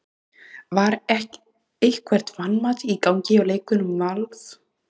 Var eitthvert vanmat í gangi hjá leikmönnum Vals?